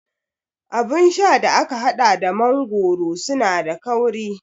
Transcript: Abun sha da aka haɗa da mangoro suna da kauri